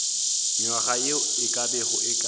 nywaga ye e ka bago